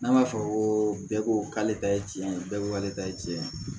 N'a ma fɔ ko bɛɛ ko k'ale ta ye tiɲɛ ye bɛɛ ko k'ale ta ye tiɲɛ ye